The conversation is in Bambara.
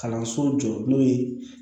Kalanso jɔ n'o ye